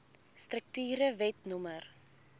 strukture wet no